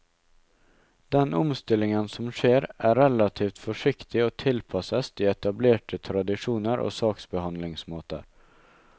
Den omstillingen som skjer er relativt forsiktig og tilpasses de etablerte tradisjoner og saksbehandlingsmåter.